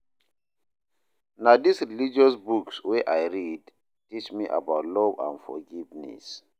Na dis religious books wey I read teach me about love and forgiveness.